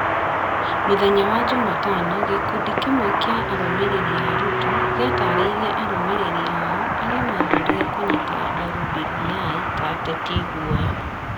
Mũthenya wa jumatano, gĩkundi kĩmwe kĩa arũmĩrĩri a Ruto gĩataarĩirie arũmĩrĩri ao arĩa maathuurire kũnyita mbaru BBI ta ateti iguoya,